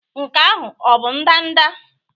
Nke ahụ ọ bụ ndanda?